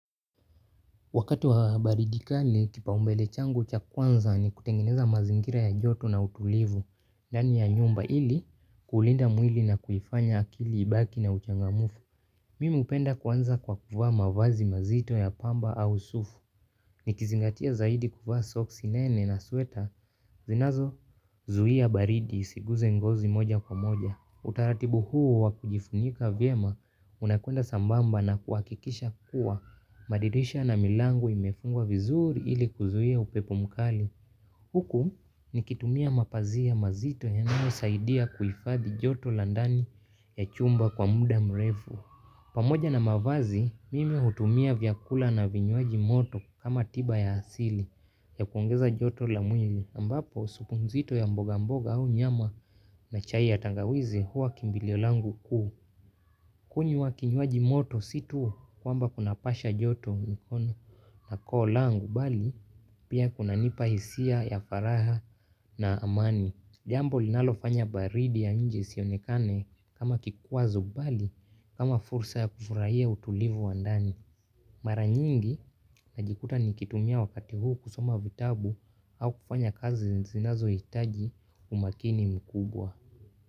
Wakati wa baridi kali, kipaumbele changu cha kwanza ni kutengeneza mazingira ya joto na utulivu, ndani ya nyumba ili kulinda mwili na kuifanya akili ibaki na uchangamfu. Mimi hupenda kuanza kwa kuvaa mavazi mazito ya pamba au sufu. Nikizingatia zaidi kufa soksi nene na sweater, zinazozuia baridi isiguze ngozi moja kwa moja. Utaratibu huu wakujifunika vyema unakwenda sambamba na kuhakikisha kuwa madirisha na milango imefungwa vizuri ili kuzuiaupepo mkali. Huku nikitumia mapazia mazito yanayosaidia kuifadhi joto la ndani ya chumba kwa muda mrefu. Pamoja na mavazi, mimi hutumia vyakula na vinywaji moto kama tiba ya asili ya kuongeza joto lamwili. Ambapo supu nzito ya mboga mboga au nyama na chai ya tangawizi huwa kimbilio langu kuu. Kunywa kinywaji moto si tu kwamba kunapasha joto mikono na koo langu bali pia kunanipa hisia ya furaha na amani. Jambo linalofanya baridi ya nje isionekane kama kikwazo mbali kama fursa ya kufurahia utulivu wa ndani. Mara nyingi najikuta nikitumia wakati huu kusoma vitabu au kufanya kazi zinazohitaji umakini mkubwa.